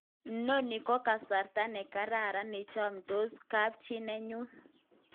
Noni ko kasarta nekarara ne yamtos kapchi neyun